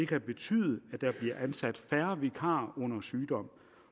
kan betyde at der bliver ansat færre vikarer under sygdom